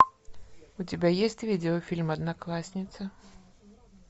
у тебя есть видеофильм одноклассницы